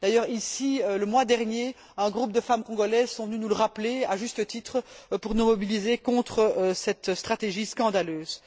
D'ailleurs ici, le mois dernier, un groupe de femmes congolaises sont venues nous le rappeler, à juste titre, pour nous mobiliser contre cette stratégie scandaleuse.